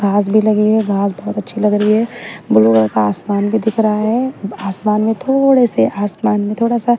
घास भी लगी है घास बहुत अच्छी लग रही है ब्ल्यू कलर का आसमान भी दिख रहा है आसमान में थोड़े से आसमान में थोड़ा सा--